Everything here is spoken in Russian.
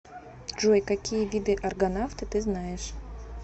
джой какие виды аргонавты ты знаешь